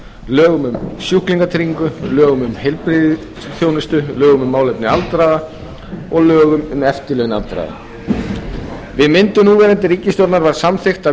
lögum um sjúklingatryggingu lögum um heilbrigðisþjónustu lögum um málefni aldraðra og lögum um eftirlaun aldraðra við myndun núverandi ríkisstjórnar var samþykkt að